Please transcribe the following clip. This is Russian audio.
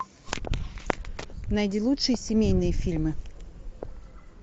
найди лучшие семейные фильмы